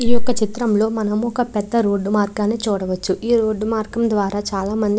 ఈ ఒక చిత్రం లో ఒక పేద రోడ్ మార్గానా చూడవచు ఈ రోడ్ మార్గం ద్వార చాల మంది--